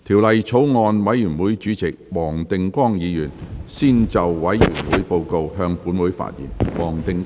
法案委員會主席黃定光議員先就委員會報告，向本會發言。